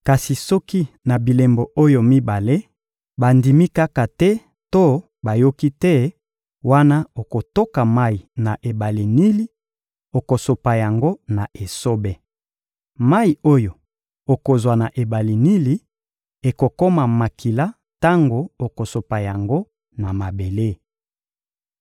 Kasi soki na bilembo oyo mibale, bandimi kaka te to bayoki te, wana okotoka mayi na ebale Nili, okosopa yango na esobe. Mayi oyo okozwa na ebale Nili ekokoma makila tango okosopa yango na mabele.